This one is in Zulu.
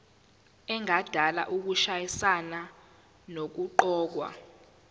engadala ukushayisana nokuqokwa